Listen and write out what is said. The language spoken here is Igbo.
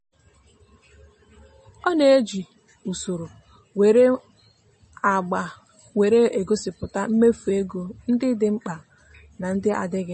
ọ na-eji usoro nwere agba were egosịpụta mmefu ego ndị dị mkpa na ndị adịghị mkpa.